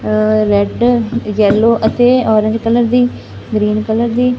red yellow ਅਤੇ orange colour ਦੀ green colour ਦੀ--